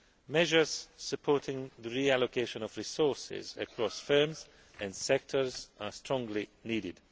Measures supporting the reallocation of resources across firms and sectors are strongly